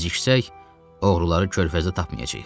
Geciksək, oğruları körfəzdə tapmayacağıq.